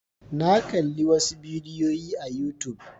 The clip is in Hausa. Na kalli wasu bidiyoyi a youtube.